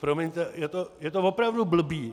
Promiňte, je to opravdu blbý.